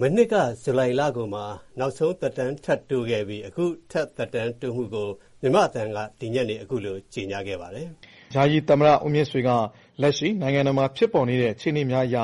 မနှစ်က ဇူလိုင်လကုန်မှာ နောက်ဆုံးသက်တမ်းထပ်တိုးခဲ့ပြီး အခု ထပ်သက်တမ်းတိုးမှုကို မြန်မာ့အသံက ဒီညနေ အခုလို ကြေညာခဲ့ပါတယ်။ "ယာယီသမ္မတဦးမြင့်ဆွေက လက်ရှိနိုင်ငံတော်မှာဖြစ်ပေါ်နေတဲ့ အခြေအနေများအရ